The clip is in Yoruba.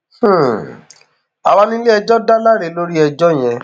um àwa níléẹjọ dá láre lórí ẹjọ yẹn